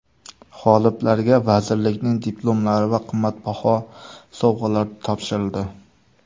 G‘oliblarga vazirlikning diplomlari va qimmatbaho sovg‘alar topshirildi.